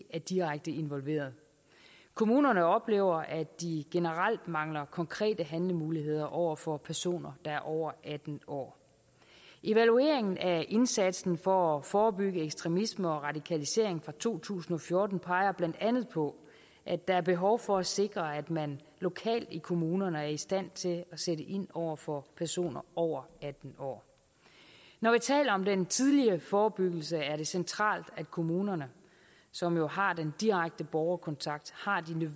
er direkte involveret kommunerne oplever at de generelt mangler konkrete handlemuligheder over for personer der er over atten år evalueringen af indsatsen for at forebygge ekstremisme og radikalisering fra to tusind og fjorten peger blandt andet på at der er behov for at sikre at man lokalt i kommunerne er i stand til at sætte ind over for personer over atten år når vi taler om den tidlige forebyggelse er det centralt at kommunerne som jo har den direkte borgerkontakt